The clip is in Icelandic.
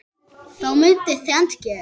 Þá mundi þrennt gerast